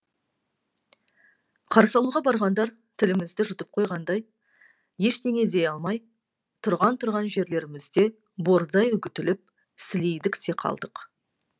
қарсы алуға барғандар тілімізді жұтып қойғандай ештеңе дей алмай тұрған тұрған жерлерімізде бордай үгітіліп сілейдік те қалдық